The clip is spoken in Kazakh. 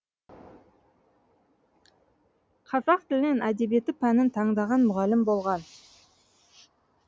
қазақ тілі мен әдебиеті пәнін таңдаған мұғалім болған